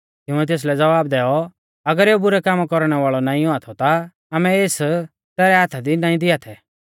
तिंउऐ तेसलै ज़वाब दैऔ अगर एऊ बुरै कामा कौरणै वाल़ौ नाईं औआ थौ ता आमै एस तैरै हाथा दी नाईं दिआ थै